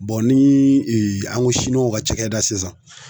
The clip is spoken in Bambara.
nii an ko w ka cakɛda sisan